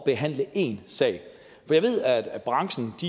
behandle en sag jeg ved at branchen